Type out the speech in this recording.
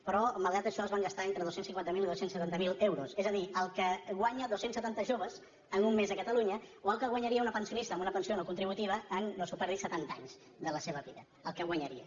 però malgrat això es van gastar entre dos cents i cinquanta miler i dos cents i setanta miler euros és a dir el que guanyen dos cents i setanta joves en un mes a catalunya o el que guanyaria una pensionista amb una pensió no contributiva en no s’ho perdi setanta anys de la seva vida el que guanyaria